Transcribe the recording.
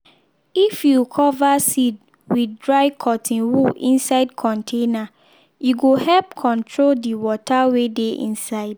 if you cover seed with dry cotton wool inside container e go help control the water wey dey inside.